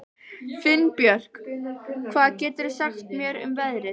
Finnbjörk, hvað geturðu sagt mér um veðrið?